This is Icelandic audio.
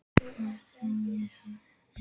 Hvað segja spekingarnir?